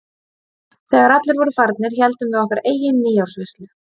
Þegar allir voru farnir héldum við okkar eigin nýársveislu.